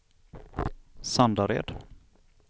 Sandared